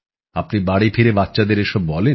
আপনি বাড়ি ফিরে বাচ্চাদের এসব বলেন